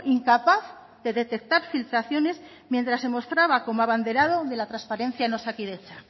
incapaz de detectar filtraciones mientras se mostraba como abanderado de la transparencia en osakidetza